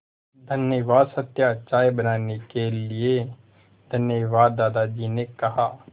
धन्यवाद सत्या चाय बनाने के लिए धन्यवाद दादाजी ने कहा